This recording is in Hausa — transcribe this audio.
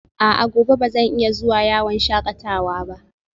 A'a, gobe ba zan iya zuwa yawon shakatawa ba?